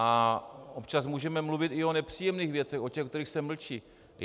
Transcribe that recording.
A občas můžeme mluvit i o nepříjemných věcech, o těch, o kterých se mlčí.